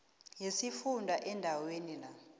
yesifunda endaweni la